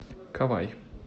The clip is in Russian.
кавай